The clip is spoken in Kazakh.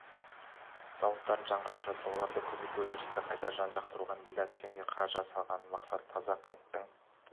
зауыттарын жаңғыртып жатыр оларды кеңейтіп өндірісті қайта жарақтандыруға миллиард теңге қаражат салған мақсат таза қанттың